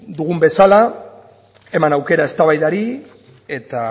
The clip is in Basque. dugun bezala eman aukera eztabaidari eta